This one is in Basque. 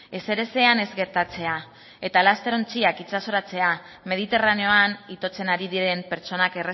ezerezean ez gertatzea eta laster ontziak itsasoratzea mediterraneoan itotzen ari diren pertsonak